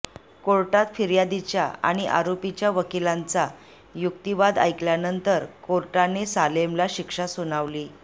कोर्टात फिर्यादीच्या आणि आरोपीच्या वकिलांचा युक्तीवाद ऐकल्यानंतर कोर्टाने सालेमला शिक्षा सुनावली